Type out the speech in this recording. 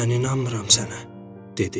"Mən inanmıram sənə" dedi.